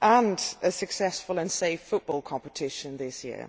and a successful and safe football competition this year.